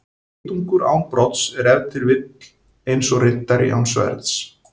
Geitungur án brodds er ef til vill eins og riddari án sverðs.